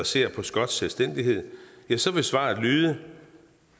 ser på skotsk selvstændighed så vil svaret lyde